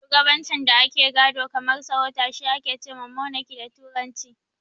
Shugabancin da ake gado kamar sarauta shi ake ce ma "Monaki" da turanci.